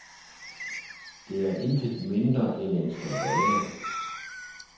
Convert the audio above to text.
Det er intet mindre end en skandale.